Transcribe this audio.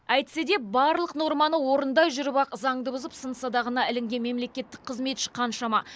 әйтсе де барлық норманы орындай жүріп ақ заңды бұзып сын садағына ілінген мемлекеттік қызметші қаншама